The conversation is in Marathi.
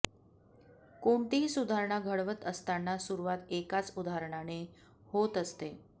कोणतीही सुधारणा घडवत असताना सुरुवात एकाच उदाहरणाने होत असते